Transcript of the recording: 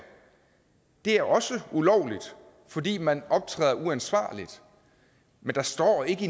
er det også ulovligt fordi man optræder uansvarligt der står ikke